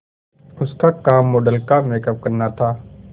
उसका काम मॉडल का मेकअप करना था